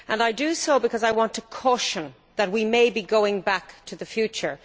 I do so because I want to caution that we may be going back to the future.